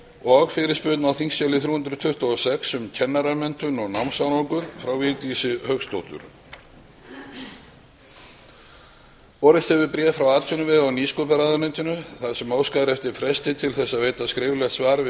og fyrirspurn á þingskjali þrjú hundruð tuttugu og sex um kennaramenntun og námsárangur frá vigdísi hauksdóttur borist hefur bréf frá atvinnuvega og nýsköpunarráðuneytinu þar sem óskað er eftir fresti til að veita skriflegt svar við